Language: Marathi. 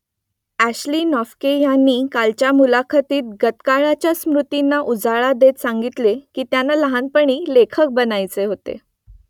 अॅशली नोफ्के यांनी कालच्या मुलाखतीत गतकाळातल्या स्मृतींना उजाळा देत सांगितले की त्यांना लहानपणी लेखक बनायचे होते